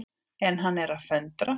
En hann er að föndra.